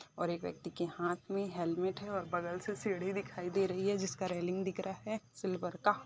और एक व्यक्ति के हाथ मे हेलमेट है और बगल से सीढ़ी दिखाई दे रही है जिसका रेलिंग दिख रहा है सिल्वर का--